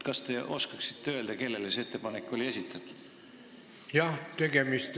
Kas te oskate öelda, kellele see ettepanek oli esitatud?